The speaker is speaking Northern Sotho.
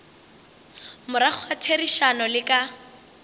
morago ga therišano le ka